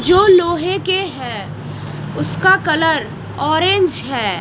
जो लोहे के हैं उसका कलर ऑरेंज है।